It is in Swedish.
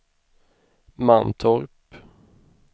Mantorp